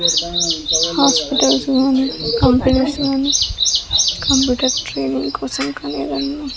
hospitals లోని competition computer training కోసం కానీ --